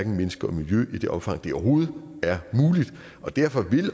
mennesker og miljø i det omfang det overhovedet er muligt og derfor vil